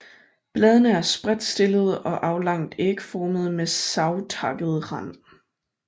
Bladene er spredtstillede og aflangt ægformede med savtakket rand